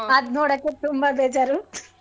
ಅದನ್ ನೋಡೋಕೆ ತುಂಬ ಬೇಜಾರು .